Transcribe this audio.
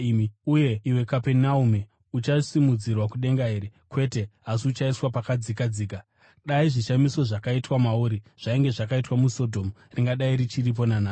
Uye iwe Kapenaume, uchasimudzirwa kudenga here? Kwete, asi uchaiswa pakadzikadzika. Dai zvishamiso zvakaitwa mauri zvainge zvakaitwa muSodhomu, ringadai richiripo nanhasi.